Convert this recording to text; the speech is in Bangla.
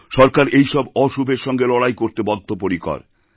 সরকার এইসব অশুভের সঙ্গে লড়াই করতে বদ্ধপরিকর